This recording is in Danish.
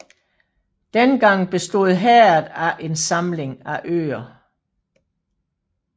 Dengang bestod herredet af en samling af øer